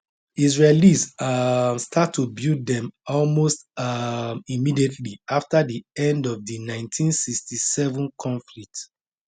israelis um start to build dem almost um immediately after di end of di 1967 conflict